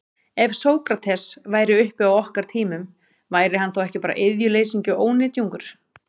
Ef Sókrates væri uppi á okkar tímum, væri hann þá ekki bara iðjuleysingi og ónytjungur?